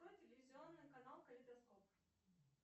открой телевизионный канал калейдоскоп